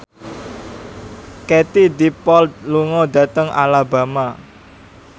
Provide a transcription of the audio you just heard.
Katie Dippold lunga dhateng Alabama